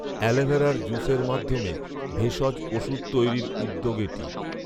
আ্যলোভেরার জুসের মাধ্যমে ভেষজ ওষুধ তৈরির উদ্যোগ এটি৷